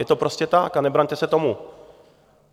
Je to prostě tak a nebraňte se tomu.